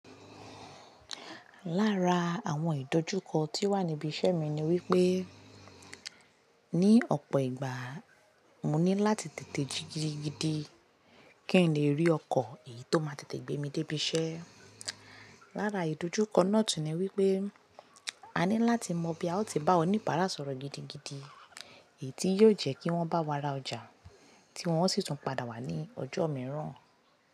Lára àwọn ìdojúkọ tí o wà níbi iṣẹ́ mi ni wípé, ní ọ̀pọ̀ ìgbà mo ní láti tètè jí gidigidi kí n lè rí ọkọ̀ èyí tó máa tètè gbé mi dé ibi iṣẹ́. Lára ìdojúkọ náà tun ni wípé a ní láti mọ bí a ó ti bá oníbàárà sọ̀rọ̀ gidigidi èyí tí yóò jẹ́ kí wọ́n bá wa ra ọjà tí wọ́n ó sì tún padà wá ní ọjọ́ mìíràn.